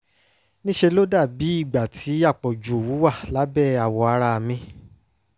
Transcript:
ní ṣe ló dàbí ìgbà tí àpọ̀jù òwú wà lábẹ́ àwọ̀ ara mi